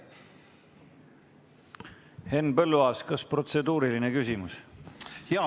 Henn Põlluaas, kas protseduuriline küsimus?